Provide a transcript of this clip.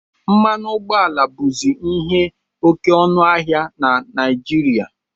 Mmanụ ụgbọala bụzi ihe oke ọnụ ahịa na Naijiria